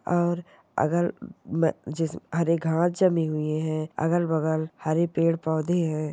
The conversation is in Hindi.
और अगल ब-जिस-हरे घास जमी हुई है अगल बगल हरे पेड़ पौधे है।